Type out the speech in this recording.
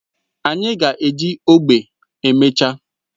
Anyị ga-eji ogbe emechaa